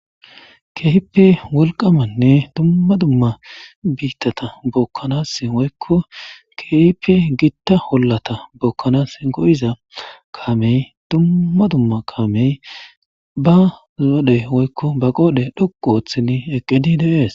Keipe wolqamanne dumma dumma biittata bokkanas woykko keipe gitta hollata bokkanas go'iza kaamey dumma dumma kaamey ba zodhey woykko ba qoodhe dhoqu ooththini eqqedi des.